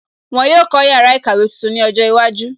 Wọn yóò kó yàrá ìkàwé tuntun ní ọjọ́ iwájú